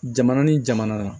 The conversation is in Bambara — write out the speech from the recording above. Jamana ni jamana